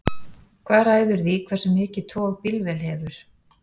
hvað ræður því hversu mikið tog bílvél hefur